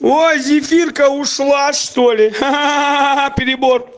ой зефирка ушла что ли ха хах ха перебор